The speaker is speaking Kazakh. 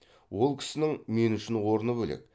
ол кісінің мен үшін орны бөлек